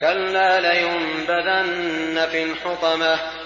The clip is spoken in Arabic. كَلَّا ۖ لَيُنبَذَنَّ فِي الْحُطَمَةِ